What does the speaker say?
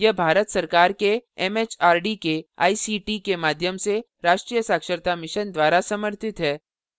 यह भारत सरकार के एमएचआरडी के आईसीटी के माध्यम से राष्ट्रीय साक्षरता mission द्वारा समर्थित है